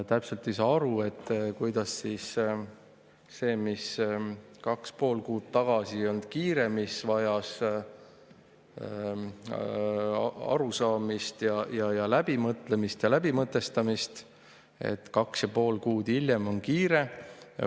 Täpselt ei saa aru, kuidas sellega, millega kaks ja pool kuud tagasi ei olnud kiire, mis vajas arusaamist ja läbimõtlemist ja läbimõtestamist, kaks ja pool kuud hiljem on kiire.